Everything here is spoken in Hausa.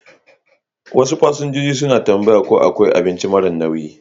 Wasu fasinjoji suna tambaya ko akwai abinci mara nauyi.